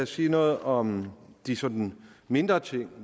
sige noget om de sådan mindre ting